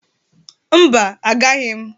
Mba, agaghi m.